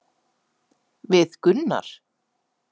Við Gunnar?